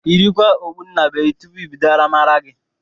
Yikwara okpu nnabuenyi tụpụ ibido aramara gi